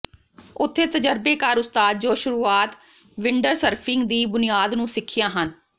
ਉੱਥੇ ਤਜਰਬੇਕਾਰ ਉਸਤਾਦ ਜੋ ਸ਼ੁਰੂਆਤ ਵਿੰਡਸਰਫਿੰਗ ਦੀ ਬੁਨਿਆਦ ਨੂੰ ਸਿੱਖਿਆ ਹਨ